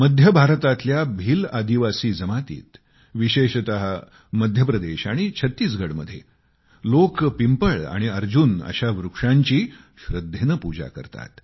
मध्य भारतातल्या भिल आदिवासी जमातीत विशेषतः मध्य प्रदेश आणि छत्तीसगढ मध्ये लोक पिंपळ आणि अर्जुन अशा वृक्षांची श्रद्धेने पूजा करतात